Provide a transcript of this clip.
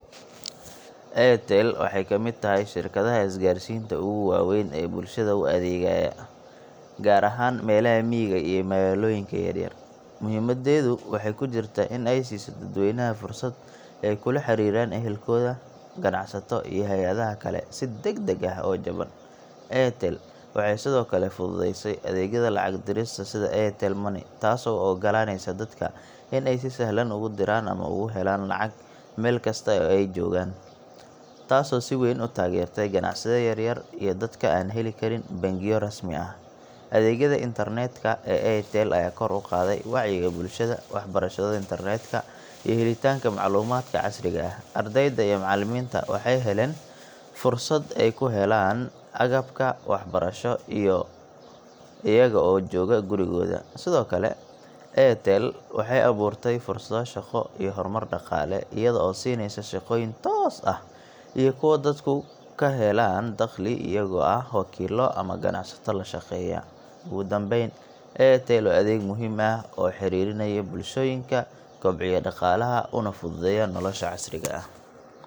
cs]Airtel waxay ka mid tahay shirkadaha isgaarsiinta ugu waaweyn ee bulshada u adeegaya, gaar ahaan meelaha miyiga iyo magaalooyinka yaryar. Muhiimadeedu waxay ku jirtaa in ay siiso dadweynaha fursad ay kula xiriiraan ehelkooda, ganacsato, iyo hay’adaha kale si degdeg ah oo jaban. Airtel waxay sidoo kale fududeysay adeegyada lacag dirista sida Airtel Money, taasoo u oggolaaneysa dadka in ay si sahlan ugu diraan ama uga helaan lacag meel kasta oo ay joogaan, taasoo si weyn u taageertay ganacsiyada yar-yar iyo dadka aan heli karin bangiyo rasmi ah. Adeegyada internet ka ee Airtel ayaa kor u qaaday wacyiga bulshada, waxbarashada internet ka, iyo helitaanka macluumaadka casriga ah. Ardayda iyo macallimiinta waxay heleen fursado ay ku helaan agabka waxbarasho iyaga oo jooga gurigooda. Sidoo kale, Airtel waxay abuurtaa fursado shaqo iyo horumar dhaqaale iyada oo siinaysa shaqooyin toos ah iyo kuwo dadku ku helaan dakhli iyagoo ah wakiilo ama ganacsato la shaqeeya. Ugu dambayn, Airtel waa adeeg muhiim ah oo xiriirinaya bulshooyinka, kobciya dhaqaalaha, una fududeeya nolosha casriga ah.